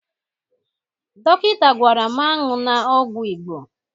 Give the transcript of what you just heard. Dọkịta gwara m aṅụla ọgwụ Igbo